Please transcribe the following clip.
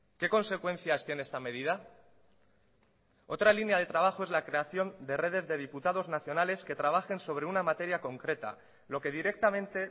qué consecuencias tiene esta medida otra línea de trabajo es la creación de redes de diputados nacionales que trabajen sobre una materia concreta lo que directamente